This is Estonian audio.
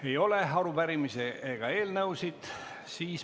Ei ole arupärimisi ega eelnõusid.